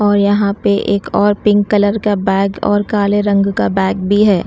और यहां पे एक और पिंक कलर का बैग और काले रंग का बैग भी है।